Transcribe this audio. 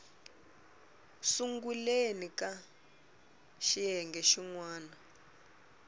sunguleni ka xiyenge xin wana